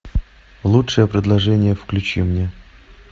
лучшее предложение включи мне